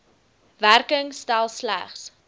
werking stel slegs